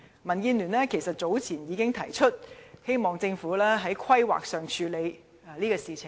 民建聯早年已經提出，希望政府在進行規劃時處理這問題。